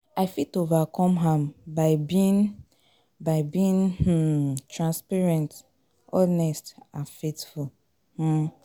i fit overcome am by being, by being um transparent, honest and faithful.